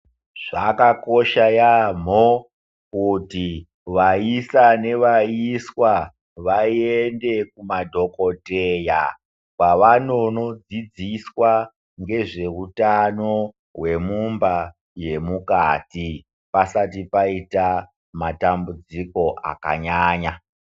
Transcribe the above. Zvakakosha yaamho kuti vaisa nevaiswa vaende kumadhokoteya. Kwavanonodzidziswa nezvehutano hwemumba yemukati, pasati paita matambudziko akanyanya.